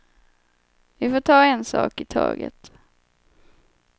Vi får ta en sak i taget.